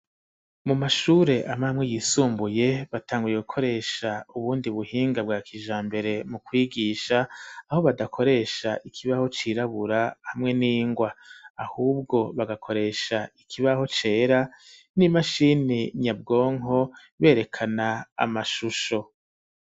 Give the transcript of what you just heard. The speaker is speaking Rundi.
Mu mashure amwe amwe yisumbuye, batanguye gukoresha ubundi buhinga bwa kijambere mu kwigisha, aho badakoresha ikibaho cirabura hamwe n'ingwa, ahubwo bagakoresha ikibaho cera, n'imashini nyabwonko berekana amashusho.